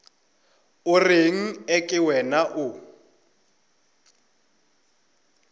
o reng eke wena o